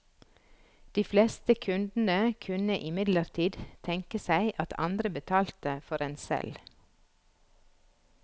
De fleste kundene kunne imidlertid tenke seg at andre betalte for en selv.